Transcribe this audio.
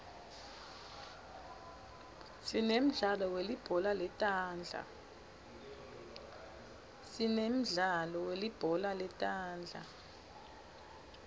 sinemdlalo welibhola letandla